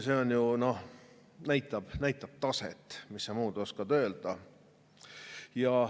See ju näitab taset, mis sa muud oskad öelda.